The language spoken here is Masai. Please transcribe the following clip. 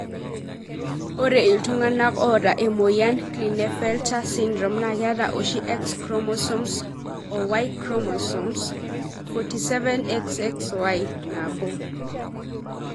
ore iltunganaa ota emoyian Klinefelter syndrome na keeta oshi X chromosomes are o Y chromosome (47, XXY).nabo.